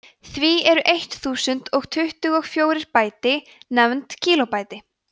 því eru eitt þúsund og tuttugu og fjórir bæti nefnd kílóbæti